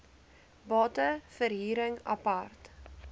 bate verhuring apart